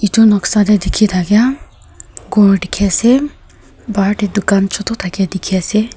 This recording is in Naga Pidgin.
etu noksa teh dikhi thakia ghor dikhi ase bahar teh dukan chotu thakia dikhi ase.